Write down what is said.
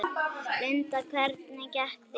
Linda: Hvernig gekk þér?